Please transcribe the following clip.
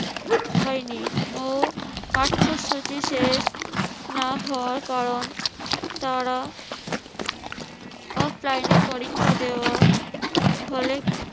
হয়নি ও পাঠ্যসূচি শেষ না হওয়ার কারণ তারা offline এ পরীক্ষা দেওয়া হলে